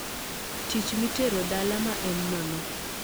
tich mi tero dala ma en nono